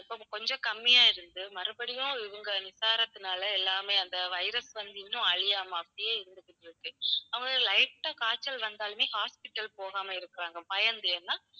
கொஞ்சம் கொஞ்சம் கம்மியா இருந்து மறுபடியும் இவங்க நிசாரத்துனால எல்லாமே அந்த virus வந்து இன்னும் அழியாம அப்படியே இருந்துகிட்டு இருக்கு. அவங்களுக்கு light ஆ காய்ச்சல் வந்தாலுமே hospital போகாம இருக்காங்க பயந்து ஏன்னா